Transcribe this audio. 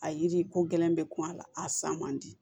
A yiri ko gɛlɛn bɛ kuma a la a san man di